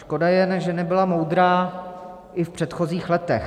Škoda jen, že nebyla moudrá i v předchozích letech.